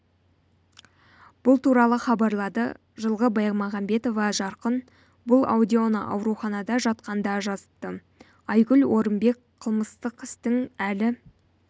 бұл туралы хабарлады жылғы баймағамбетова жарқын бұл аудионы ауруханада жатқанда жазыпты айгүл орынбек қылмыстық істің әлі